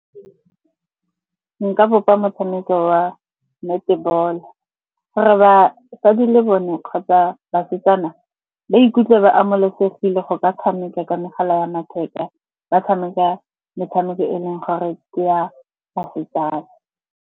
Nka bopa motshameko wa netball-o gore batsadi le bone kgotsa basetsana ba ikutlwe ba amogelesegile go ka tshameka ka megala ya matheka. Ba tshameka metshameko e leng gore ke ya basetsana.